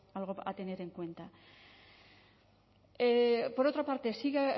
algo a tener en cuenta por otra parte sigue